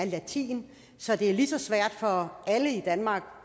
latin så det er lige svært for alle i danmark